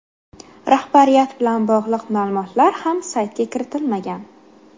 Rahbariyat bilan bog‘liq ma’lumotlar ham saytga kiritilmagan.